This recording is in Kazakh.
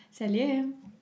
сәлем